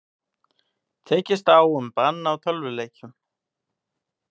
Tekist á um bann á tölvuleikjum